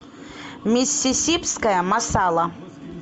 миссисипская масала